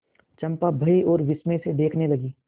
चंपा भय और विस्मय से देखने लगी